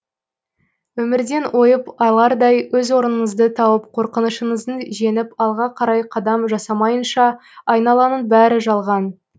өмірден ойып алардай өз орныңызды тауып қорқынышыңызды жеңіп алға қарай қадам жасамайынша айналаның бәрі жалған